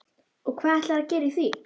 Og hvað ætlarðu þá að gera í því?